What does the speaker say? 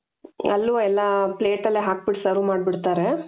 ಅಲ್ಲೂ ಎಲ್ಲಾ plate ಎಲ್ಲಾ ಹಾಕ್ಬಿಟ್ಟು serve ಮಾಡ್ಬಿಡ್ತಾರೆ